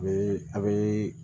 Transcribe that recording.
A bɛ a' bee